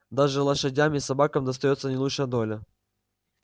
даже лошадям и собакам достаётся не лучшая доля